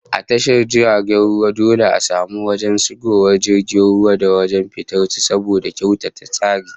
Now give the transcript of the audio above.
A tashar jirgin ruwa dole a samu wajen shigowar jiragen ruwa da wajen fitar su saboda kyautata tsari